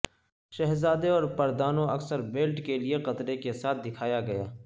شہزادے اور پردانوں اکثر بیلٹ کے لئے قطر کے ساتھ دکھایا گیا